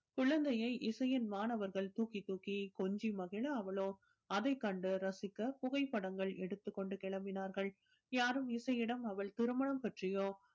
குழந்தையை இசையின் மாணவர்கள் தூக்கி தூக்கி கொஞ்சி மகிழ அவளோ அதைக் கண்டு ரசிக்க புகைப்படங்கள் எடுத்துக் கொண்டு கிளம்பினார்கள் யாரும் இசை இடம் அவள் திருமணம் பற்றியோ